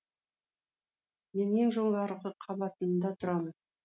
мен ең жоғарғы қабатында тұрамын